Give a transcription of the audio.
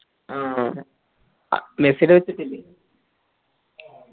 ആ അ മെസ്സിടെ വെച്ചിട്ടില്ലേ